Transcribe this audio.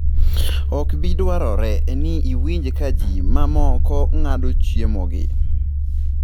Ok bi dwarore ni iwinj ka ji mamoko ng’ado chiemogi.